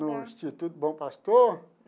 No Instituto Bom Pastor?